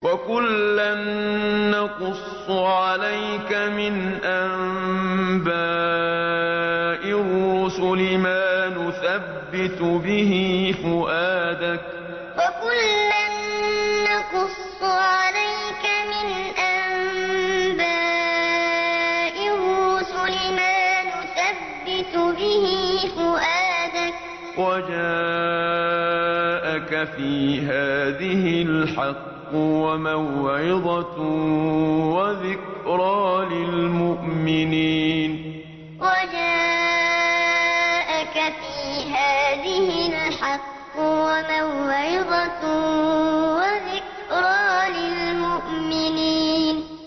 وَكُلًّا نَّقُصُّ عَلَيْكَ مِنْ أَنبَاءِ الرُّسُلِ مَا نُثَبِّتُ بِهِ فُؤَادَكَ ۚ وَجَاءَكَ فِي هَٰذِهِ الْحَقُّ وَمَوْعِظَةٌ وَذِكْرَىٰ لِلْمُؤْمِنِينَ وَكُلًّا نَّقُصُّ عَلَيْكَ مِنْ أَنبَاءِ الرُّسُلِ مَا نُثَبِّتُ بِهِ فُؤَادَكَ ۚ وَجَاءَكَ فِي هَٰذِهِ الْحَقُّ وَمَوْعِظَةٌ وَذِكْرَىٰ لِلْمُؤْمِنِينَ